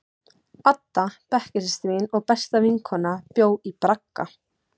Adda, bekkjarsystir mín og besta vinkona, bjó í bragga.